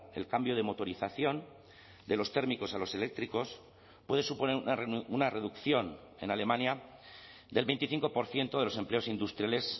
el cambio de motorización de los térmicos a los eléctricos puede suponer una reducción en alemania del veinticinco por ciento de los empleos industriales